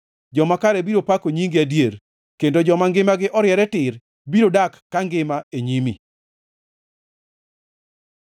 Joma kare biro pako nyingi adier kendo joma ngimagi oriere tir biro dak kangima e nyimi.